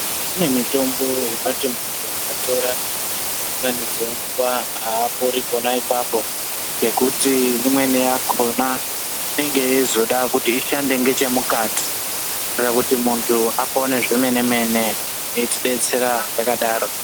Kune mitombo yepachinziko ukatora dzimweni dzenguva haapori pona ipapo ngenguti imweni yakhona inenge yeizoda kuti ishande ngechemukati nekuti muntu apone zvemene mene eyitibetsera yakadaro.